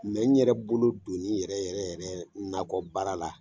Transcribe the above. Mɛ n yɛrɛ bolo doni yɛrɛ yɛrɛ yɛrɛ nakɔbaara la